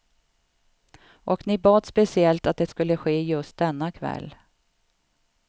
Och ni bad speciellt att det skulle ske just denna kväll.